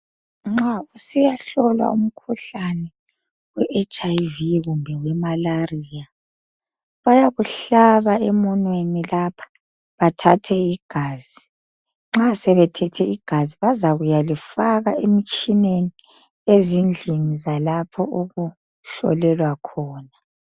Nxa usiyahlolwa umkhuhlane we-HIV kumbe wemalaria bayakuhlaba emunweni lapha bathathe igazi nxa sebethethe igazi bazakuyalifaka emtshineni ezindlini zalapho okuhlolelwa khona.